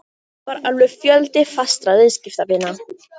Það var alveg fjöldi fastra viðskiptavina